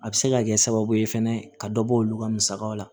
A bɛ se ka kɛ sababu ye fɛnɛ ka dɔ bɔ olu ka musakaw la